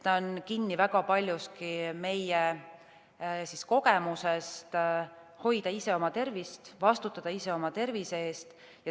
See on väga paljuski kinni meie kogemustes, kuidas hoida ise oma tervist, vastutada ise oma tervise eest.